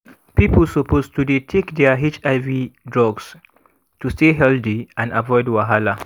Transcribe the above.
people suppose to dey take their hiv drugs to stay healthy and avoid wahala